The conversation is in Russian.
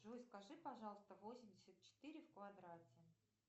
джой скажи пожалуйста восемьдесят четыре в квадрате